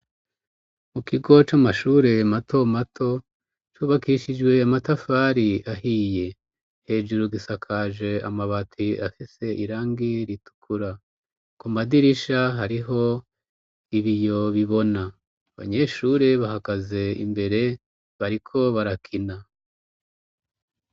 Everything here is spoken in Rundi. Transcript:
Mu kigo c'amashure mato mato ,cubakishijwe amatafari ahiye ,hejuru gisakaje amabati afise irangi ritukura ,ku madirisha hariho ibiyo bibona ,abanyeshure bahagaze imbere bariko barakina.